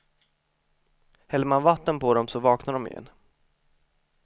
Häller man vatten på dem så vaknar de igen.